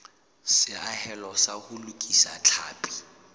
seahelo sa ho lokisa tlhapi